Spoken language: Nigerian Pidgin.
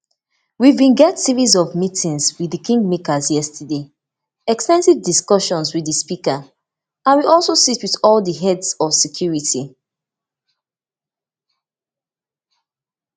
we bin get series of meetings wit di kingmakers yesterday ex ten sive discussions wit di speaker and we also sit wit all di heads of security